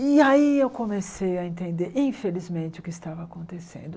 E aí eu comecei a entender, infelizmente, o que estava acontecendo.